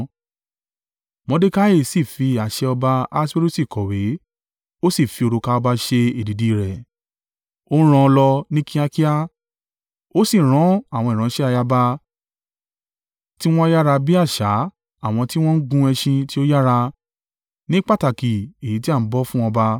Mordekai sì fi àṣẹ ọba Ahaswerusi kọ̀wé, ó sì fi òrùka ọba ṣe èdìdì i rẹ̀, ó rán an lọ ní kíákíá, ó sì rán àwọn ìránṣẹ́ ayaba, tiwọn yára bí àṣà àwọn tí wọ́n ń gun ẹṣin tí ó yára, ní pàtàkì èyí tí a ń bọ́ fún ọba.